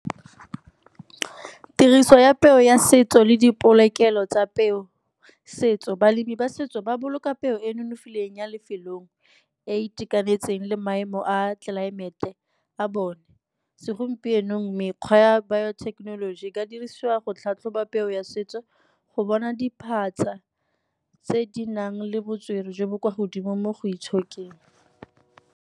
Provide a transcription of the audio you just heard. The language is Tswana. Tiriso ya peo ya setso le dipolokelo tsa peo setso, balemi ba setso ba boloka peo e e nonofileng ya lefelong e e itekanetseng le maemo a tlelaemete a bone. Segompienong mekgwa ya bio-thekenoloji e ka dirisiwa go tlhatlhoba peo ya setso, go bona diphatsa tse di nang le botswerere jo bo kwa godimo mo go itshokeng.